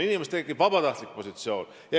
Inimestele tekib vabatahtlik positsioon.